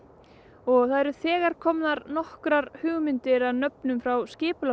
og það eru þegar komnar nokkrar hugmyndir að nöfnum frá